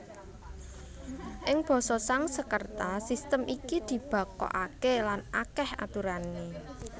Ing basa Sangsekerta sistém iki dibakokaké lan akèh aturané